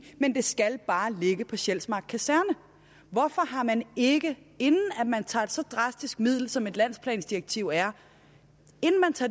men det skal bare ligge på sjælsmark kaserne hvorfor har man ikke inden at man tager så drastisk et middel som et landsplandirektiv er